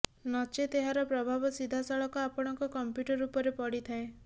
ନଚେତ ଏହାର ପ୍ରଭାବ ସିଧାସଳଖ ଆପଣଙ୍କ କମ୍ପ୍ୟୁଟର ଉପରେ ପଡିଥାଏ